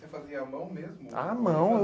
Você fazia à mão mesmo? A mão